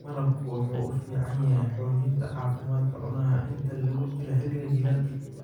Malabku wuxuu u fiican yahay xoojinta caafimaadka cunaha inta lagu jiro xilliga jiilaalka.